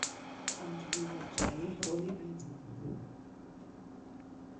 анджелина джоли в роли ведьмы